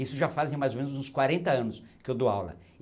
Isso já fazem mais ou menos uns quarenta anos que eu dou aula.